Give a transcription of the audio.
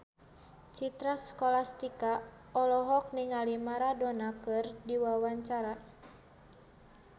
Citra Scholastika olohok ningali Maradona keur diwawancara